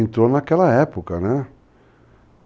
Entrou naquela época, né?